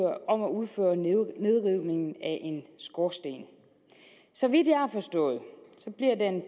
nedrivningen af en skorsten så vidt jeg har forstået bliver den